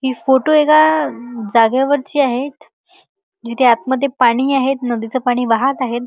हि फोटो एका जागेवरची आहेत जिथे आतमध्ये पाणी हि आहे नदीच पाणी वाहत आहे.